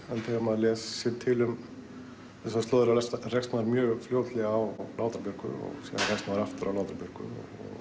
þegar maður les sér til um þessar slóðir rekst maður mjög fljótlega á Látra Björgu og síðan rekst maður aftur á Látra Björgu